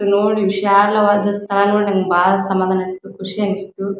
ನೋಡಿ ವಿಶಾಲವಾದ ಸ್ಥಳಗಳು ಬಹಳ ಸಮಧಾನ ಅನ್ಸುತು ಖುಷಿ ಅನ್ಸುತು.